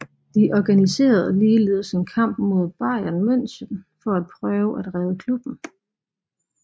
De organiserede ligeledes en kamp mod Bayern München for at prøve at redde klubben